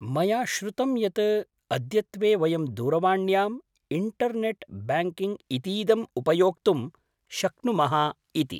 मया श्रुतं यत्, अद्यत्वे वयं दूरवाण्याम् इण्टर्नेट्‍ ब्याङ्किङ्ग् इतीदम् उपयोक्तुं शक्नुमः इति।